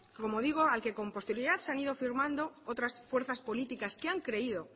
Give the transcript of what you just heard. como digo al que con posterioridad han sido firmando otras fuerzas políticas que han creído